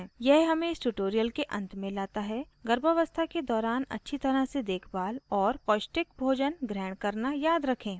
यह हमें इस tutorial के अंत में लाता है गर्भावस्था के दौरान अच्छी तरह से देखभाल और पौष्टिक भोजन ग्रहण करना याद रखें